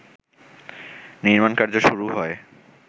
নির্মাণকার্য শুরু হয়